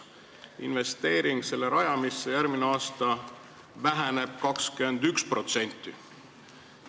Investeering selle rajamisse väheneb järgmisel aastal 21%.